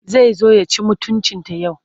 Zai zo ya ci mutuncinta yau.